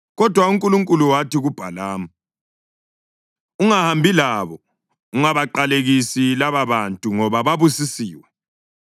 Kodwa uNkulunkulu wathi kuBhalamu, “Ungahambi labo. Ungabaqalekisi lababantu, ngoba babusisiwe.”